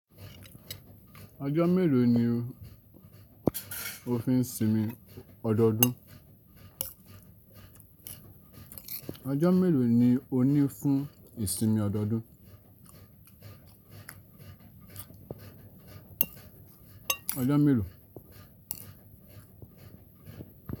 Ọjọ́ mélòó ni o fi ń sinmi ọdọodún? Ọjọ́ mélòó ni o ní fún ìsinmi ọdọodún? Ọjọ́ mélòó?